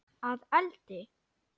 Að eldi?